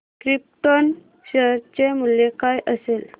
krypton share चे मूल्य काय असेल